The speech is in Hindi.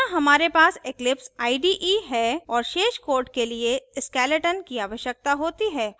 यहाँ हमारे पास eclipse ide है और शेष code के लिए skeleton की आवश्यकता होती है